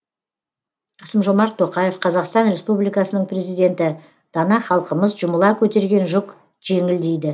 қасым жомарт тоқаев қазақстан республикасының президенті дана халқымыз жұмыла көтерген жүк жеңіл дейді